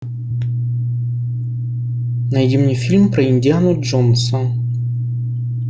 найди мне фильм про индиану джонса